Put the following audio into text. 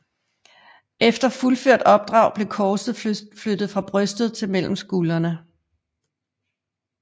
Efter fuldført opdrag blev korset flyttet fra brystet til mellem skuldrene